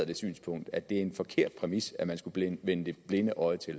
det synspunkt at det er en forkert præmis at man skulle vendt det blinde øje til